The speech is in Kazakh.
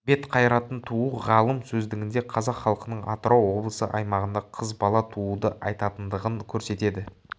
бет қарайтын туу ғалым сөздігінде қазақ халқының атырау облысы аймағында қыз бала тууды айтатындығын көрсетеді